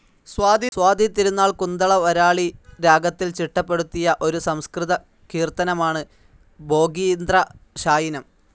സ്വാതി തിരുനാൾ കുന്തളവരാളി രാഗത്തിൽ ചിട്ടപ്പെടുത്തിയ ഒരു സംസ്കൃതകീർത്തനമാണ് ഭോഗീന്ദ്രശായിനം.